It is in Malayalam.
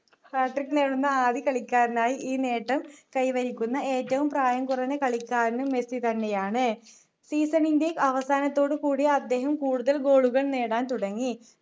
hatric നേടുന്ന ആദ്യ കളിക്കാരനായി ഈ നേട്ടം കൈവരിക്കുന്ന ഏറ്റവും പ്രായം കുറഞ്ഞ കളിക്കാരനും മെസ്സി തന്നെയാണ് season ൻ്റെ അവസാനത്തോടു കൂടി അദ്ദേഹം കൂടുതൽ goal കൾ നേടാൻ തുടങ്ങി